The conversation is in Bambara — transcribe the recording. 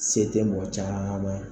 Se tɛ mɔgɔ caman